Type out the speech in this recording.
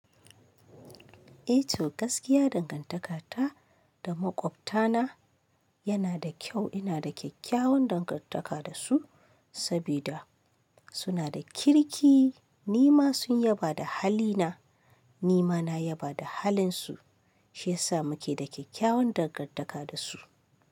Eh to gaskiya dangan taka na da maƙota na tanada kyau ina da kyakkyawan dangantaka da su sabida suna da kirki. Ni ma sun yaba da halina, ni ma na yaba da halinsu, shi yasa muke da kyakkyawan dangantaka da su.